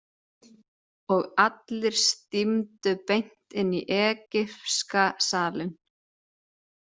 Og allir stímdu beint inn í egypska salinn.